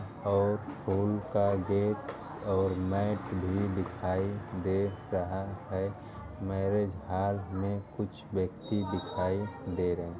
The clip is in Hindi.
और फूल का गेट और मैट भी दिखाई दे रहा है। मैरेज हॉल में कुछ व्यक्ति दिखाई दे रहे --